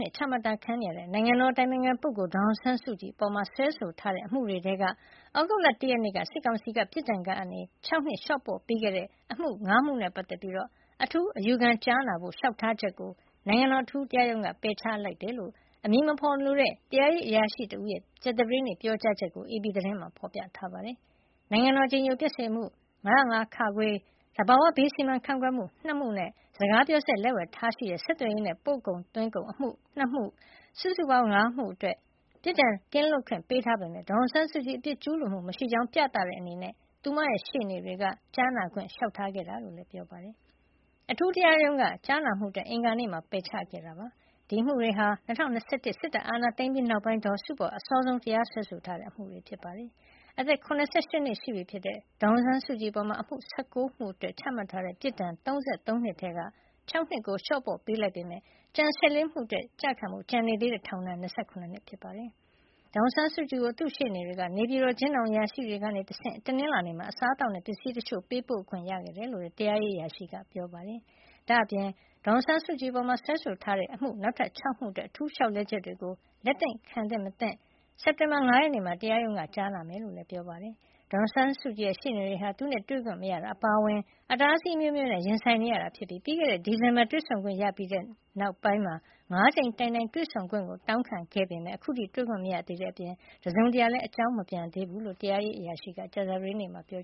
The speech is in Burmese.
နှစ်ချမှတ်ခံထားရတဲ့ နိုင်ငံတော်အတိုင်ပင်ခံပုဂ္ဂိုလ် ဒေါ်အောင်ဆန်းစုကြည်အပေါ် စွဲဆိုထားတဲ့အမှုတွေထဲက သြဂုတ်လ ၁ ရက်နေ့က စစ်ကောင်စီက ပြစ်ဒဏ် ၆ နှစ်လျှော့ပေါ့ပေးခဲ့တဲ့အမှု ၅ မှုနဲ့ ပတ်သက်ပြီး အထူးအယူခံကြားနာဖို့ လျှောက်ထားချက်ကို နိုင်ငံတော်အထူးတရားရုံးက ပယ်ချလိုက်တယ်လို့ အမည်မဖေါ်တဲ့ တရားရေးအရာရှိတဦးရဲ့ ကြာသပတေးနေ့ ပြောကြားချက်ကို AP သတင်းမှာ ဖေါ်ပြထားပါတယ်။ နိုင်ငံတော်အကြည်ညိုပျက်စေမှု ၅၀၅ (ခ)၊ သဘာဝဘေးစီမံခန့်ခွဲမှု ၂ မှုနဲ့ စကားပြောစက် လက်ဝယ်ထားရှိတဲ့ ဆက်သွယ်ရေးနဲ့ ပို့ကုန်သွင်းကုန်အမှု ၂ ခု စုစုပေါင်း ၅ မှုအတွက် ပြစ်ဒဏ်ကင်းလွတ်ခွင့် ပေးထားပေမယ့် ဒေါ်အောင်ဆန်းစုကြည် အပြစ်ကျူးလွန်မှုမရှိကြောင်း ပြသတဲ့အနေနဲ့ သူမရဲ့ရှေ့နေတွေက ကြားနာခွင့်လျှောက်ထားခဲ့တာလို့လည်း ပြောပါတယ်။ အထူးတရားရုံးက ကြားနာမှုအတွက် အင်္ဂါနေ့မှာ ပယ်ချခဲ့ပြီး ဒီအမှုတွေဟာ ၂၀၂၁ စစ်တပ်အာဏာသိမ်းပြီးနောက်ပိုင်း ဒေါ်စုအပေါ် အစောဆုံးတရားစွဲဆိုထားတဲ့ အမှုတွေ ဖြစ်ပါတယ်။ အသက် ၇၈ နှစ်ရှိပြီဖြစ်တဲ့ ဒေါ်အောင်ဆန်းစုကြည်အပေါ် အမှု ၁၉ မှုအတွက် ချမှတ်ထားတဲ့ ပြစ်ဒဏ် ၃၃ နှစ်ထဲက ၆ နှစ် လျှော့ပေါ့ပေးလိုက်ပေမယ့် ကျန် ၁၄ မှု အတွက် ကျခံဖို့ ကျန်နေသေးတဲ့ ထောင်ဒဏ်က ၂၇ နှစ် ဖြစ်ပါတယ်။ ဒေါ်အောင်ဆန်းစုကြည်ကို သူ့ရှေ့နေတွေက နေပြည်တော် အကျဉ်းထောင် အရာရှိတွေကနေတဆင့် တနင်္လာနေ့မှာ အစားtသောက်နဲ့ ပစ္စည်းတချို့ ပေးပို့ခွင့်ရခဲ့တယ်လို့လည်း တရားရေးအရာရှိက ပြောပါတယ်။ ဒါ့အပြင် ဒေါ်အောင်ဆန်းစုကြည်အပေါ် စွဲဆိုထားတဲ့ နောက်ထပ် ၆ မှု အတွက် အထူးလျှောက်လဲချက် တွေကို လက်ခံသင့်မသင့် စက်တင်ဘာလ ၅ ရက်နေ့မှာ တရားရုံးက ကြားနာမှာ ဖြစ်ကြောင်းလည်း ပြောပါတယ်။ ဒေါ်အောင်ဆန်းစုကြည်ရဲ့ ရှေ့နေတွေဟာ သူနဲ့တွေ့ဆုံခွင့်မရတာအပါအဝင် အတားအဆီးအမျိုးမျိုးနဲ့ ရင်ဆိုင်နေရပါတယ်။ ပြီးခဲ့တဲ့ ဒီဇင်ဘာလက တွေ့ဆုံခွင့်ရပြီးနောက်မှာ ၅ ကြိမ်တိုင်တိုင် တွေ့ဆုံခွင့်တောင်းခံခဲ့ပေမယ့် အခုထိတွေ့ခွင့်မရသေးတဲ့အပြင် အကြောင်းတစုံတရာမပြန်သေးဘူးလို့လည်း တရားရေး အရာရှိက ကြာသပတေးနေ့မှာ ပြော